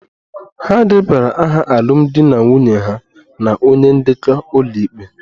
Ha debara aha alụmdi na nwunye ha na onye ndekọ ụlọikpe